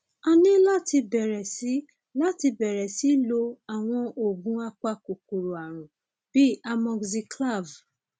a ní láti bẹrẹ sí láti bẹrẹ sí lo àwọn oògùn apakòkòrò ààrùn bíi amoxiclav